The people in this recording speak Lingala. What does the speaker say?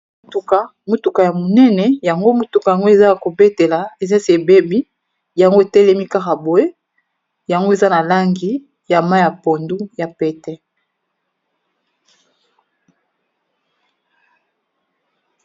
Motuka, motuka ya munene, yango mutuka yango eza ya ko betela ,eza esi ebebi yango e telemi kaka boye, eza ya mayi pondu ya pète.